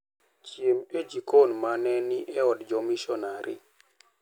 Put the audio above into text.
Chiem e jikon ma ne ni e od jomisonari.